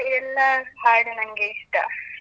ಎಲ್ಲಾ ಹಾಡೂ ನಂಗೆ ಇಷ್ಟ.